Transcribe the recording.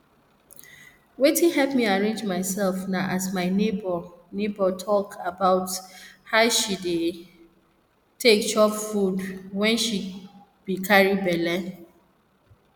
wetin help me arrange myself na as my neighbor neighbor talk about her she be dey take chop food wen she be carry belle